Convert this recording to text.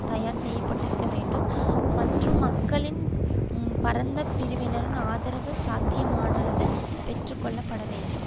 தயார் செய்யபட்டிருக்க வேண்டும் மற்றும் மக்களின் பரந்த பிரிவினரின் ஆதரவு சாத்தியமானளவு பெற்றுக்கொள்ளப்பட வேண்டும்